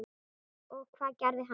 Og hvað gerði hann?